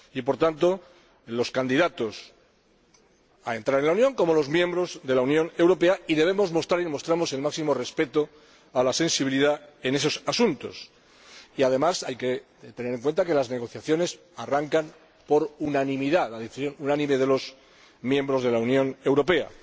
Por tanto, los candidatos a la adhesión, como los miembros de la Unión Europea, deben demostrar el máximo respeto a la sensibilidad en estos asuntos. Y, además, hay que tener en cuenta que las negociaciones arrancan por unanimidad, por la decisión unánime de los miembros de la Unión Europea.